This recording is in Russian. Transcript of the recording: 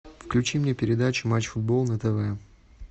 включи мне передачу матч футбол на тв